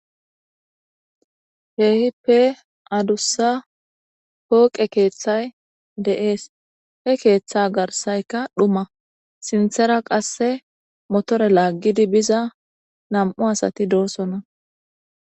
Keehippe adussa pooqe keethay de7ees. he keetha garssaykka dhuma.sinthara qasse motore laaggidi biza nam77u asati doosona.